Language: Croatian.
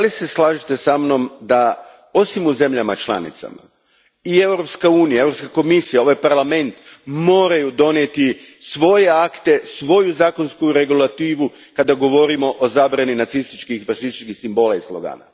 Slažete li se sa mnom da osim u zemljama članicama i Europska unija, Europska komisija, ovaj Parlament moraju donijeti svoje akte, svoju zakonsku regulativu kada govorimo o zabrani nacističkih i fašističkih simbola i slogana?